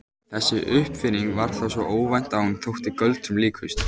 Þessi uppfinning var þá svo óvænt að hún þótti göldrum líkust.